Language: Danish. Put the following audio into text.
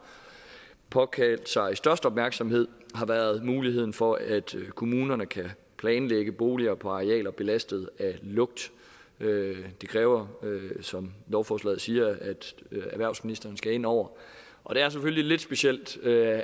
påkaldt sig størst opmærksomhed har været muligheden for at kommunerne kan planlægge boliger på arealer belastet af lugt det kræver som lovforslaget siger at erhvervsministeren skal ind over og det er selvfølgelig lidt specielt at